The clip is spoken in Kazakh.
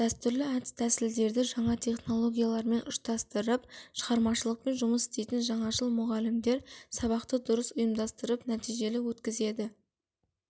дәстүрлі әдіс тәсілдерді жаңа технологиялармен ұштастырып шығармашылықпен жұмыс істейтін жаңашыл мұғалімдер сабақты дұрыс ұйымдастырып нәтижелі өткізеді